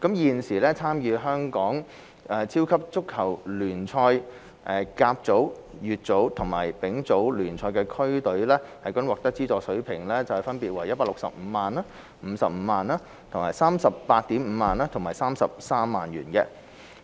現時，參與香港超級足球聯賽、甲組、乙組和丙組聯賽的區隊獲得的資助水平分別為165萬元、55萬元、385,000 元和33萬元。